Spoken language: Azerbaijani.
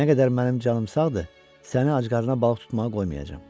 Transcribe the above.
Nə qədər mənim canım sağdır, səni acqarnına balıq tutmağa qoymayacam.